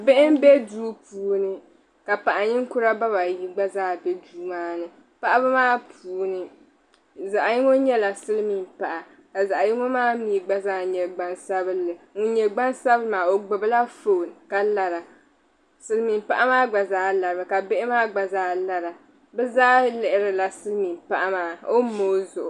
Bihi n be duu puuni ka paɣa ninkuria bɛ ba ayi gba zaa be duu maani paɣiba maa puuni zaɣa yingo nyela silimiin paɣa ka zaɣ' yingo maa nyɛ gban sabinli ŋun nye gban sabinli maa o gbubi la phone ka lara silimiin paɣa maa gba zaa lari mi ka bihi maa gba zaa lara bi zaa lihiri la silimiin paɣa maa o noo yi zuɣu.